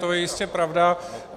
To je jistě pravda.